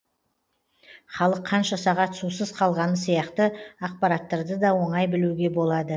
халық қанша сағат сусыз қалғаны сияқты ақпараттарды да оңай білуге болады